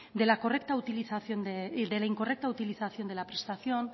de la incorrecta utilización de la prestación